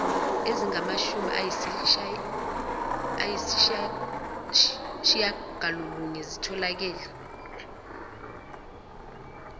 ezingamashumi ayishiyagalolunye zitholakele